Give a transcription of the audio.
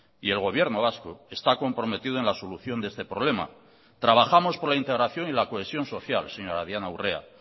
y el gobierno vasco está comprometido en la solución de este problema trabajamos por la integración y la cohesión social señora diana urrea